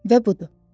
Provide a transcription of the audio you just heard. Və budur.